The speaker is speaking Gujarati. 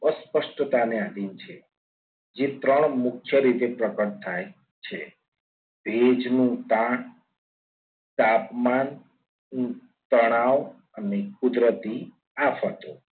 અસ્પષ્ટતા ની આધીન છેજે ત્રણ મુખ્ય રીતે પ્રગટ થાય છે ભેજનું તાપમાન તળાવ અને કુદરતી આફતો